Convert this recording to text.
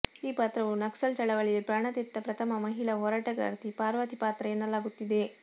ಈ ಪಾತ್ರವು ನಕ್ಸಲ್ ಚಳವಳಿಯಲ್ಲಿ ಪ್ರಾಣತೆತ್ತ ಪ್ರಥಮ ಮಹಿಳಾ ಹೋರಾಟಗಾರ್ತಿ ಪಾರ್ವತಿ ಪಾತ್ರ ಎನ್ನಲಾಗುತ್ತಿದೆ